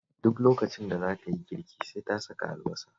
Duk lokacin da za ta yi girki sai ta saka albasa